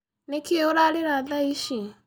Nĩkĩ ũrarĩra thaa ici?